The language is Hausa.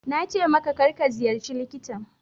Na ce maka, kar ka ziyarci likitan.